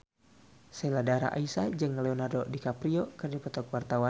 Sheila Dara Aisha jeung Leonardo DiCaprio keur dipoto ku wartawan